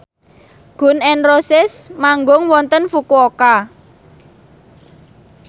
Gun n Roses manggung wonten Fukuoka